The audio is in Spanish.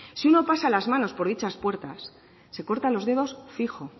si uno pasa las manos por dichas puertas se corta los dedos fijo